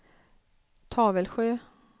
Tavelsjö